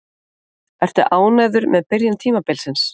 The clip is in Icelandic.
Ertu ánægður með byrjun tímabilsins?